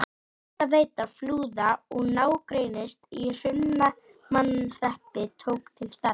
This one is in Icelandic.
Hitaveita Flúða og nágrennis í Hrunamannahreppi tók til starfa.